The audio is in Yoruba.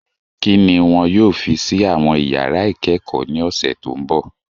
Kí ni wọn yóò fi sí àwọn iyàrá ìkẹ́kọ̀ọ́ ní ọ̀sẹ̀ tó mbọ̀?